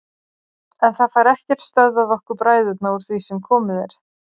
En það fær ekkert stöðvað okkur bræðurna úr því sem komið er.